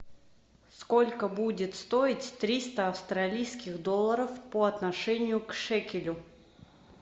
сколько будет стоить триста австралийских долларов по отношению к шекелю